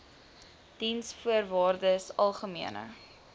diensvoorwaardesalgemene